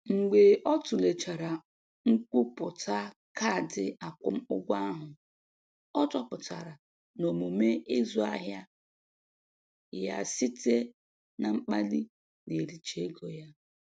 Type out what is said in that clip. Mgbe ọ tụlechara nkwupụta kaadị akwụmụgwọ ahụ, ọ chọpụtara na omume ịzụ ahịa ya site na mkpali na-ericha ego ya.